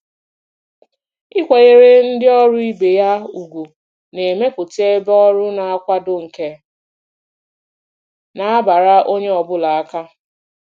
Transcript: ịkwanyere ndị ọrụ ibe ya ùgwù na-emepụta ebe ọrụ na-akwado nke na-abara onye ọ bụla aka.